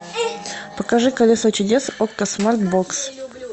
покажи колесо чудес окко смарт бокс